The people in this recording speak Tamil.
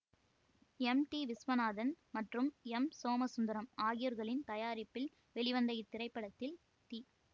எம் டி விஸ்வநாதன் மற்றும் எம் சோமசுந்தரம் ஆகியோர்களின் தயாரிப்பில் வெளிவந்த இத்திரைப்படத்தில் தி